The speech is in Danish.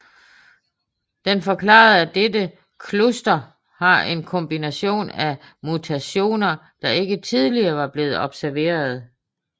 Den forklarede at dette cluster har en kombination af mutationer der ikke tidligere var blevet observeret